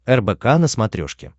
рбк на смотрешке